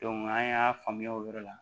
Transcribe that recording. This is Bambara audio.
an y'a faamuya o yɔrɔ la